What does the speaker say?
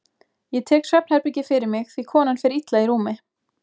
Ég tek svefnherbergið fyrir mig því konan fer illa í rúmi.